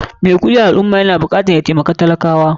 Mai kuɗi a al ummah yana bukatar ya taimakin talaka.